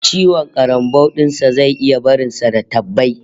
Ciwon karambau din sa zai iya barin sa da tabbai